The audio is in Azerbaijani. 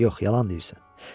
Yox, yalan deyirsən.